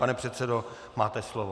Pane předsedo, máte slovo.